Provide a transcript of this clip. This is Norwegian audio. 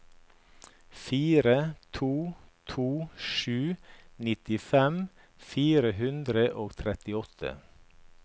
fire to to sju nittifem fire hundre og trettiåtte